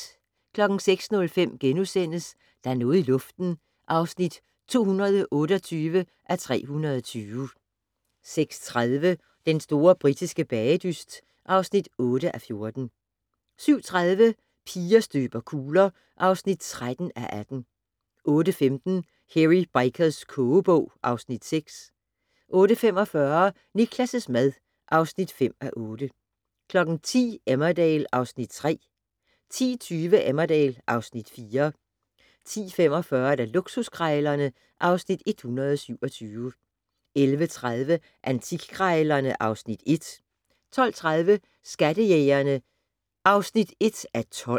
06:05: Der er noget i luften (228:320)* 06:30: Den store britiske bagedyst (8:14) 07:30: Piger støber kugler (13:18) 08:15: Hairy Bikers kogebog (Afs. 6) 08:45: Niklas' mad (5:8) 10:00: Emmerdale (Afs. 3) 10:20: Emmerdale (Afs. 4) 10:45: Luksuskrejlerne (Afs. 127) 11:30: Antikkrejlerne (Afs. 1) 12:30: Skattejægerne (1:12)